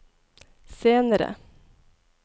senere